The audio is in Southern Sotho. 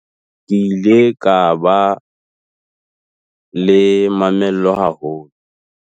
Ke ile ka ba le mamello haholo.